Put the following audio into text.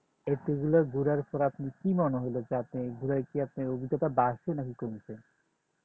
এতগুলা ঘুরার পর আপনি কি মনে হলো যে ঘুরায় কি আপনি অভিজ্ঞতা বাড়ছে নাকি কমছে